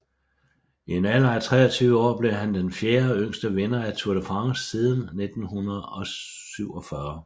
I en alder af 23 år blev han den fjerde yngste vinder af Tour de France siden 1947